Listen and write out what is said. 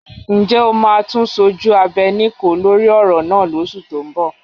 Ǹjẹ́ o máa tún sojú abẹ níkòó lórí ọ̀rọ̀ náà lóṣù tó ń bọ̀?